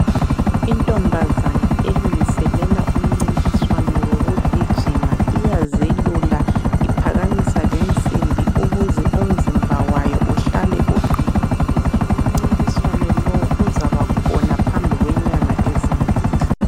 Intombazana elungiselela umncintiswano wokugijima, iyazelula iphakamisa lensimbi ukuze umzimba wayo uhlale uqinile. Umncintiswano lowu uzabakhona phambi kwenyanga ezimbili.